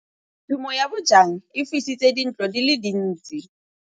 Tshumô ya bojang e fisitse dintlo di le dintsi.